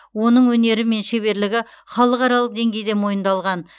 оның өнері мен шеберлігі халықаралық деңгейде мойындалған